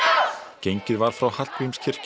gengið var frá Hallgrímskirkju